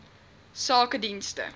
sakedienste